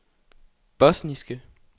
bosniske